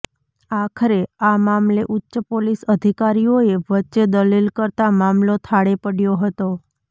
આખરે આ મામલે ઉચ્ચ પોલીસ અધિકારીઓએ વચ્ચે દલીલ કરતા મામલો થાળે પડ્યો હતો